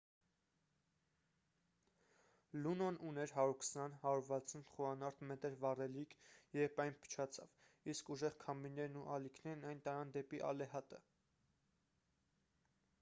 լունոն ուներ 120 - 160 խորանարդ մետր վառելիք երբ այն փչացավ իսկ ուժեղ քամիներն ու ալիքներն այն տարան դեպի ալեհատը